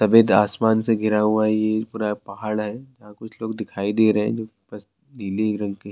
سفید آسمان سے گھرا ہوا یہ پورا پہاد ہے۔ کچھ لوگ دکھائی دے رہے ہے۔ جو باس نیلے رنگ کے--